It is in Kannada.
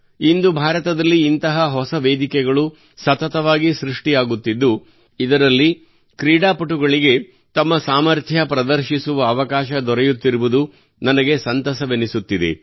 ಇಂದು ಭಾರತದಲ್ಲಿ ಇಂತಹ ಹೊಸ ವೇದಿಕೆಗಳು ಸತತವಾಗಿ ಸೃಷ್ಟಿಯಾಗುತ್ತಿದ್ದು ಇದರಲ್ಲಿ ಕ್ರೀಡಾಪಟುಗಳಿಗೆ ತಮ್ಮ ಸಾಮರ್ಥ್ಯ ಪ್ರದರ್ಶಿಸುವ ಅವಕಾಶ ದೊರೆಯುತ್ತಿರುವುದು ನನಗೆ ಸಂತಸವೆನಿಸುತ್ತಿದೆ